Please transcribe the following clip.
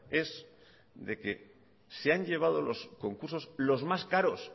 es de que se han llevado los concursos los más caros